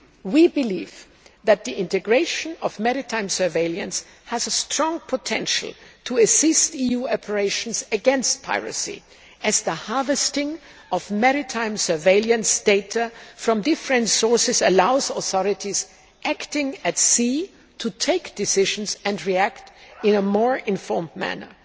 We believe that the integration of maritime surveillance has a strong potential to assist EU operations against piracy, as the harvesting of maritime surveillance data from different sources allows authorities acting at sea to take decisions and react in a more informed manner.